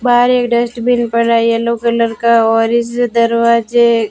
बाहर एक डस्टबिन पड़ा है येलो कलर का और इस दरवाजे--